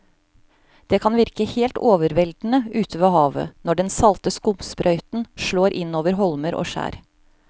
Det kan virke helt overveldende ute ved havet når den salte skumsprøyten slår innover holmer og skjær.